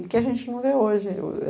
e que a gente não vê hoje.